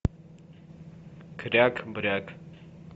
кряк бряк